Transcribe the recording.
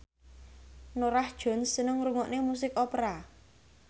Norah Jones seneng ngrungokne musik opera